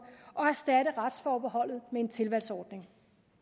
og erstatte retsforbeholdet med en tilvalgsordning